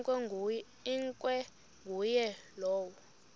ikwa nguye lowo